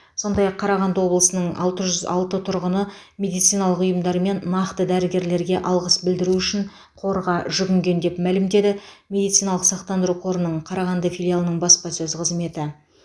сондай ақ қарағанды облысының алты жүз алты тұрғыны медициналық ұйымдар мен нақты дәрігерлерге алғыс білдіру үшін қорға жүгінген деп мәлімдеді медициналық сақтандыру қорының қарағанды филиалының баспасөз қызметі